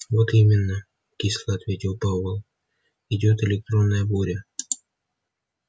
вот именно кисло ответил пауэлл идёт электронная буря